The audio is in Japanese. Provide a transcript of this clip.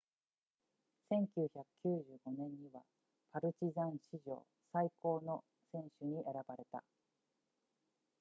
1995年にはパルチザン史上最高の選手に選ばれた